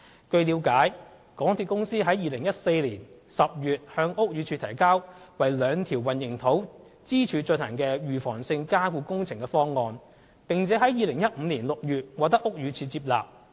據了解，港鐵公司於2014年10月向屋宇署提交為兩條混凝土支柱進行預防性加固工程的方案，並於2015年6月獲屋宇署接納其方案。